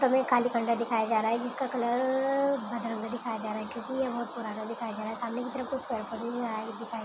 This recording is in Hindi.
हमें एक खाली खंडहर दिखाई जा रहा है जिसका कलर भदरंगा दिखाई जा रहा है क्योंकि यह बहुत पुराना दिखाई जा रहा है सामने की तरफ कुछ पेड़ पौधे दिखाए--